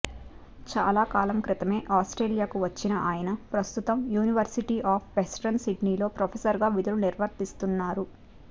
చాలాకాలం క్రితమే ఆస్ట్రేలియాకు వచ్చిన ఆయన ప్రస్తుతం యూనివర్సిటీ ఆఫ్ వెస్టర్న్ సిడ్నీలో ప్రొఫెసర్గా విధులు నిర్వర్తిస్తున్నారు